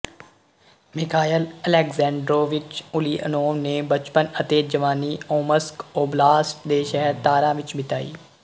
Mikhail Aleksandrovich Ulyanov ਨੇ ਬਚਪਨ ਅਤੇ ਜਵਾਨੀ ਓਮਸਕ ਓਬਲਾਸਟ ਦੇ ਸ਼ਹਿਰ ਤਾਰਾ ਵਿੱਚ ਬਿਤਾਈ